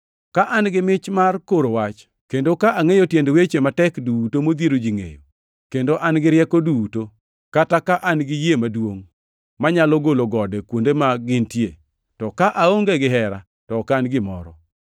Ka an gi mich mar koro wach, kendo ka angʼeyo tiend weche matek duto modhiero ji ngʼeyo, kendo an gi rieko duto, kata ka an gi yie maduongʼ manyalo golo gode kuonde ma gintie, to ka aonge gihera; to ok an gimoro.